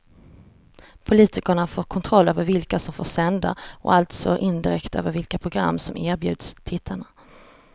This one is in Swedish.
Politikerna får kontroll över vilka som får sända och alltså indirekt över vilka program som erbjuds tittarna.